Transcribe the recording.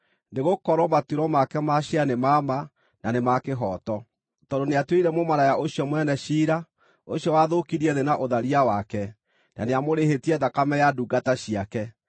nĩgũkorwo matuĩro make ma ciira nĩ ma ma, na nĩ ma kĩhooto. Tondũ nĩatuĩrĩire mũmaraya ũcio mũnene ciira, ũcio wathũkirie thĩ na ũtharia wake. Na nĩamũrĩhĩtie thakame ya ndungata ciake.”